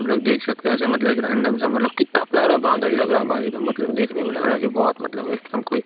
हमलोग देख सकते हैं ऐसे मतलब एक रैंडम सा मतलब कित्ता प्यारा बादल लग रहा भाई एकदम मतलब देखने में लग रहा की बहोत मतलब एकदम कोई --